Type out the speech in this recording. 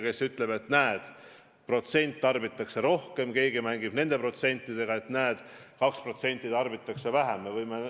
Keegi ütleb, et näed, protsent tarbitakse rohkem, keegi aga, et 2% tarbitakse vähem.